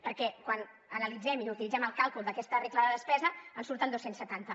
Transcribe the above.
perquè quan analitzem i utilitzem el càlcul d’aquesta regla de despesa ens en surten dos cents i setanta